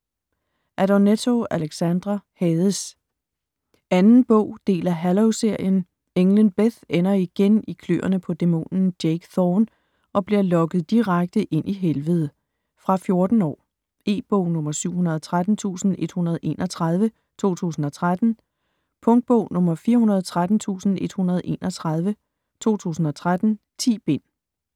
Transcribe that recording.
Adornetto, Alexandra: Hades 2. bog. del af Halo-serien. Englen Beth ender igen i kløerne på dæmonen Jake Thorn og bliver lokket direkte ind i Helvede. Fra 14 år. E-bog 713131 2013. Punktbog 413131 2013. 10 bind.